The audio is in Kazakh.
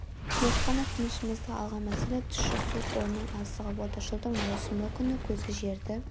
тек қана тынышымызды алған мәселе тұщы су қорының аздығы болды жылдың маусымы күні көзі жерді